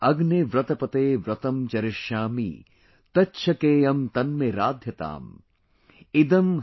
ॐ अग्ने व्रतपते व्रतं चरिष्यामि तच्छकेयम तन्मे राध्यताम |